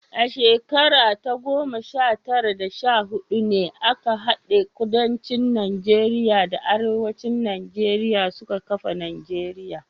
A shekara ta goma sha tara da sha hudu ne aka hade Kudancin Najeriya da Arewacin Najeriya suka kafa Najeriya.